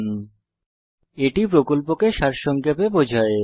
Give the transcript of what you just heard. spoken tutorial প্রকল্পকে সারসংক্ষেপে বোঝায়